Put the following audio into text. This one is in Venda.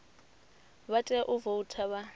vha tea u voutha vha